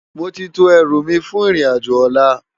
Móti tó èrú mi fún irin ájò òlá